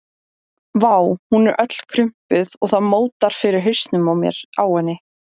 Vá, hún er öll krumpuð og það mótar fyrir hausnum á mér á henni.